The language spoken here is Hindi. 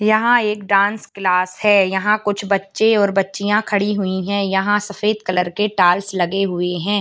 यहाँ एक डांस क्लास है यहाँ कुछ बच्चे और बच्चियां खड़ी हुई हैं यहाँ सफ़ेद कलर के टाइल्स लगे हुए हैं।